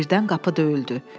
Birdən qapı döyüldü.